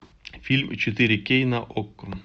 фильм четыре кей на окко